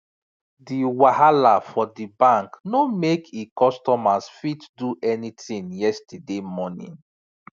di wahala for di bank no make e customers fit do any tin yesterday morning